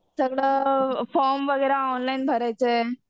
सगळं फॉर्म वगैरे ऑनलाइनच भरायचं आहे.